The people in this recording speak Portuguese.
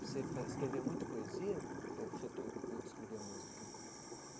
Você faz escrevia muito poesia ou você to ãh escrevia música?